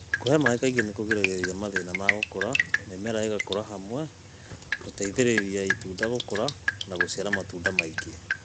kũhe maĩ kaĩngĩ nĩkũgĩragĩrĩrĩa mathĩna ma gũkũra, mĩmera ĩgakũra hamwe, gũteĩthĩrĩrĩa ĩtũnda gũkũra na gũcĩara matũnda maĩngĩ